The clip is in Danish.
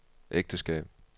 ægteskab